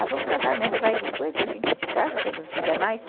Ah, vamos casar mesmo, vai, depois a gente descasa quando não quiser mais.